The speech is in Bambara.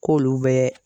K'olu bɛ